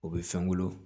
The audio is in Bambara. O bɛ fɛn wolo